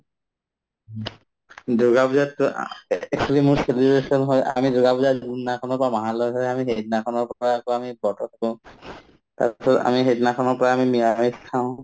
দুৰ্গা পূজাততো আ a actually মোৰ celebration হয় আ আমি দুৰ্গা পূজা যোনদিনাখনৰ পৰা মাহালয় হয় আমি সেইদিনাখনৰ পৰাই আকৌ আমি তাৰপিছত আমি সেইদিনাখনৰ পৰা আমি নিৰামিষ খাওঁ